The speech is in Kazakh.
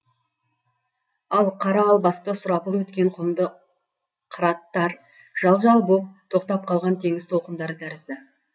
ал қара албасты сұрапыл өткен құмды қыраттар жал жал боп тоқтап қалған теңіз толқындары тәрізді